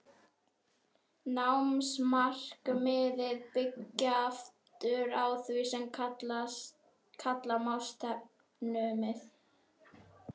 Námsmarkmiðin byggja aftur á því sem kalla má stefnumið.